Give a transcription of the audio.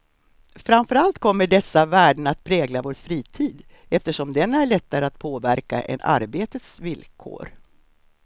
Framför allt kommer dessa värden att prägla vår fritid, eftersom den är lättare att påverka än arbetets villkor.